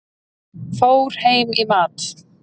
Fór heim í mat.